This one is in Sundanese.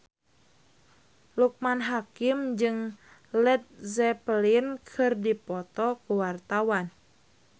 Loekman Hakim jeung Led Zeppelin keur dipoto ku wartawan